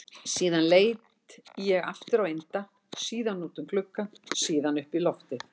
Síðan leit ég aftur á Inda, síðan út um gluggann, síðan upp í loftið.